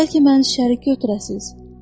Bəlkə məni şərik götürəsiz.